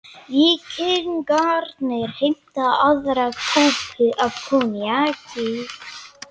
Víkingarnir heimta aðra kúpu af koníaki.